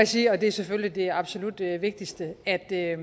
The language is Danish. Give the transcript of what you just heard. sige og det er selvfølgelig absolut det vigtigste at jeg